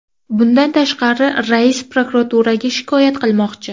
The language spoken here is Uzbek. Bundan tashqari, rais prokuraturaga shikoyat qilmoqchi.